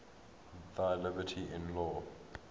thy liberty in law